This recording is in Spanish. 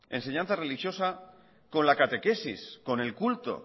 enseñanza religiosa con la catequesis con el culto